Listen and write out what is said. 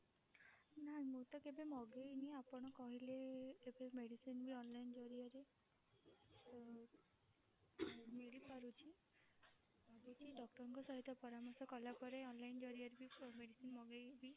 ନା ମୁଁ ତ କେବେ ମଗେଇନି ଆପଣ କହିଲେ ଏବେ medicine ବି online ଜରିଆରେ ମିଳି ପାରୁଛି ଭାବୁଛି doctor ଙ୍କ ସହିତ ପରାମର୍ଶ କଲା ପରେ online ଜରିଆରେ medicine ମଗେଇବି